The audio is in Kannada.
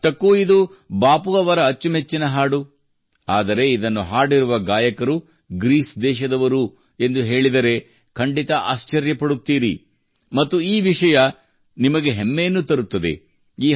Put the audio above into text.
ಅಷ್ಟಕ್ಕೂ ಇದು ಬಾಪು ಅವರ ಅಚ್ಚುಮೆಚ್ಚಿನ ಹಾಡು ಆದರೆ ಇದನ್ನು ಹಾಡಿರುವ ಗಾಯಕರು ಗ್ರೀಸ್ ದೇಶದವರು ಎಂದು ಹೇಳಿದರೆ ಖಂಡಿತಾ ಆಶ್ಚರ್ಯಪಡುತ್ತೀರಿ ಮತ್ತು ಈ ವಿಷಯವು ನಿಮಗೆ ಹೆಮ್ಮೆಯನ್ನು ತರುತ್ತದೆ